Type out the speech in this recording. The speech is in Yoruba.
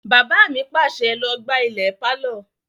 Bàbá mi pàṣẹ, "Lọ gbá ilẹ̀ pálọ̀!"